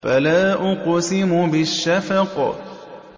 فَلَا أُقْسِمُ بِالشَّفَقِ